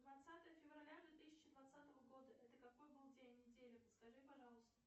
двадцатое февраля две тысячи двадцатого года это какой был день недели подскажи пожалуйста